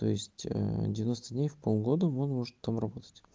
то есть девяносто дней в полгода он может там работать